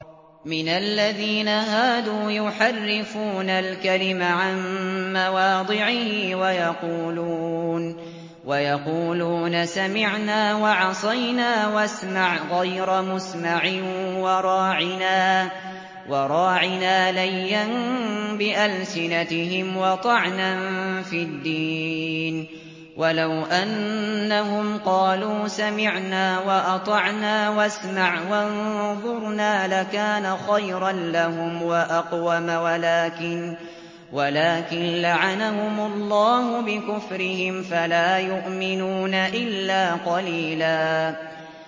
مِّنَ الَّذِينَ هَادُوا يُحَرِّفُونَ الْكَلِمَ عَن مَّوَاضِعِهِ وَيَقُولُونَ سَمِعْنَا وَعَصَيْنَا وَاسْمَعْ غَيْرَ مُسْمَعٍ وَرَاعِنَا لَيًّا بِأَلْسِنَتِهِمْ وَطَعْنًا فِي الدِّينِ ۚ وَلَوْ أَنَّهُمْ قَالُوا سَمِعْنَا وَأَطَعْنَا وَاسْمَعْ وَانظُرْنَا لَكَانَ خَيْرًا لَّهُمْ وَأَقْوَمَ وَلَٰكِن لَّعَنَهُمُ اللَّهُ بِكُفْرِهِمْ فَلَا يُؤْمِنُونَ إِلَّا قَلِيلًا